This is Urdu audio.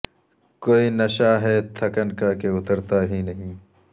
کوئی نشہ ہے تھکن کا کہ اترتا ہی نہیں